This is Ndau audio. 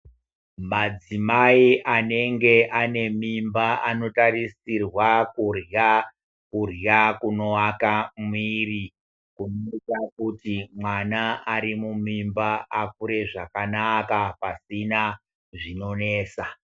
Madzimai anenge anemimba anotarisirwa kudya kudya kunovaka muviri kunoita kuti mwana ari mumimba akure zvakanaka pasina zvinonetsa.